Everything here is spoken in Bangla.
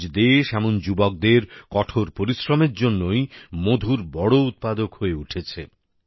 আজ দেশ এমন যুবকদের কঠোর পরিশ্রমের জন্যই মধুর বড় উৎপাদক হয়ে উঠেছে